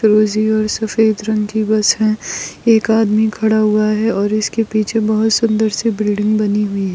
और सफ़ेद रंग की बस है एक आदमी खड़ा हुआ है और इसके पीछे बहुत सुन्दर सी बिल्डिंग बनी हुई है।